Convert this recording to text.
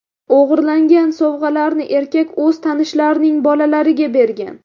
O‘g‘irlangan sovg‘alarni erkak o‘z tanishlarining bolalariga bergan.